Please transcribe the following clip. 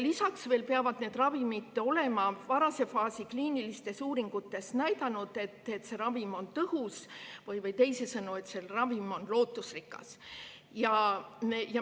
Lisaks peavad need ravimid olema varase faasi kliinilistes uuringutes näidanud, et nad on tõhusad, teisisõnu, et see ravim annab lootust.